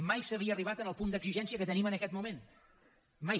mai s’havia arribat al punt d’exigència que tenim en aquest moment mai